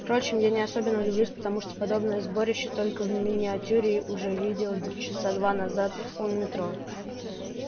впрочем я не особенно удивилась потому что подобное сборище только в миниатюре уже видела часа два назад у метро